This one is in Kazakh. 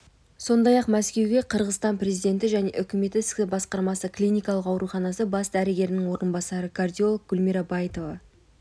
сондай-ақ мәскеуге қырғызстан президенті және үкіметі ісі басқармасы клиникалық ауруханасы бас дәрігерінің орынбасары кардиолог гүлмира баитова